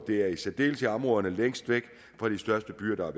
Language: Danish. det er i særdeleshed områderne længst væk fra de største byer der har